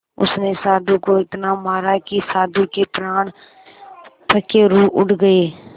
उसने साधु को इतना मारा कि साधु के प्राण पखेरु उड़ गए